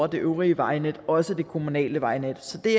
det øvrige vejnet også det kommunale vejnet så det